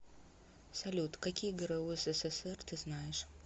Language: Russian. салют какие гру ссср ты знаешь